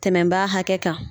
Tɛmɛn ba hakɛ kan